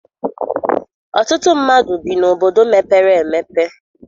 Ọtụtụ mmadụ bi n'obodo mepere emepe.